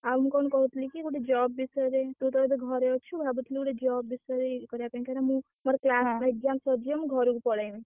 ଆଉ ମୁଁ କଣ କହୁଥିଲି କି ଗୋଟେ job ବିଷୟରେ ତୁ ତ ଏବେ ଘରେ ଅଛୁ ଭାବୁଛି ଗୋଟେ job ବିଷୟରେ ଇଏ କରିବା ପାଇଁ କାଇଁ ନା ମୁଁ ମୋର exam ସରିଯାଉ ମୁଁ ଘରୁକୁ ପଳେଇବି।